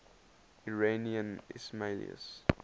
iranian ismailis